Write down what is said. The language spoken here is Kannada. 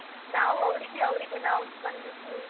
ನಾವು ಅವ್ರಿಗೆ, ಅವ್ರಿಗೆ ನಾವು ಸ್ಪಂದಿಸಿ.